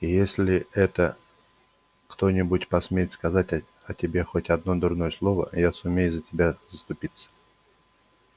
и если это кто-нибудь посмеет сказать о тебе хоть одно дурное слово я сумею за тебя заступиться